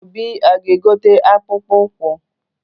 Obi aga-egote akpụkpọ ụkwụ?